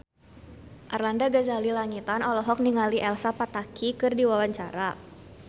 Arlanda Ghazali Langitan olohok ningali Elsa Pataky keur diwawancara